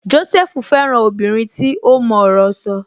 Jósẹ́fù fẹ́ràn obìnrin tí ó mọ ọ̀rọ̀ sọ